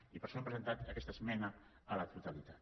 i per això hem presentat aquesta esmena a la totalitat